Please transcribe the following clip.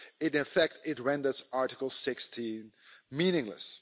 In effect, it renders Article 16 meaningless.